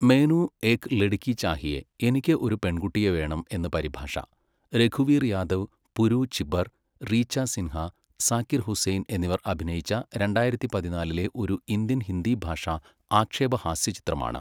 മെയ്നു ഏക് ലഡ്കി ചാഹിയേ, എനിക്ക് ഒരു പെൺകുട്ടിയെ വേണം എന്ന് പരിഭാഷ, രഘുവീർ യാദവ്, പുരു ചിബ്ബർ, റീച്ച സിൻഹ, സാക്കിർ ഹുസൈൻ എന്നിവർ അഭിനയിച്ച രണ്ടായിരത്തി പതിനാലിലെ ഒരു ഇന്ത്യൻ ഹിന്ദി ഭാഷാ ആക്ഷേപഹാസ്യചിത്രമാണ്.